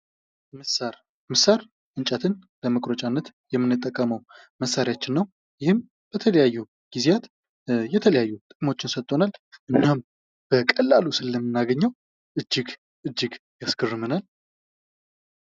ምሳር ምሳር እንጨትን ለመቁረጫነት የምንጠቀመው መሳሪያችን ነው። ይህም በተለያዩ ጊዜያት የተለያዩ ጥቅሞችን ሰጥቶናል። እናም በቀላሉ ስለምናገኘው እጅግ እጅግ ያስገርመናል።